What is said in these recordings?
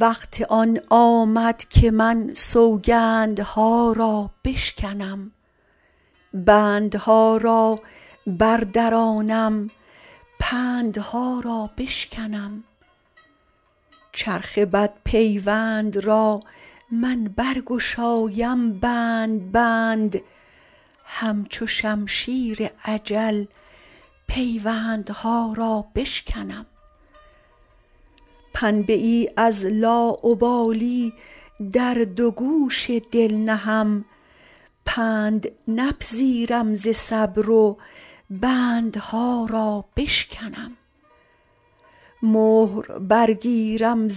وقت آن آمد که من سوگندها را بشکنم بندها را بردرانم پندها را بشکنم چرخ بدپیوند را من برگشایم بند بند همچو شمشیر اجل پیوندها را بشکنم پنبه ای از لاابالی در دو گوش دل نهم پند نپذیرم ز صبر و بندها را بشکنم مهر برگیرم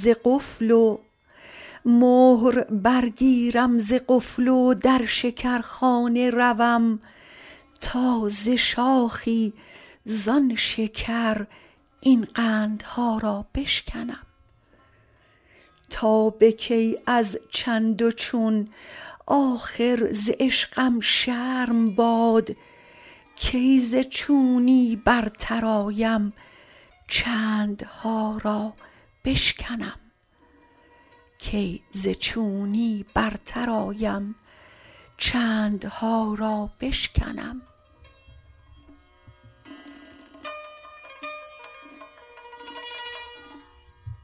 ز قفل و در شکرخانه روم تا ز شاخی زان شکر این قندها را بشکنم تا به کی از چند و چون آخر ز عشقم شرم باد کی ز چونی برتر آیم چندها را بشکنم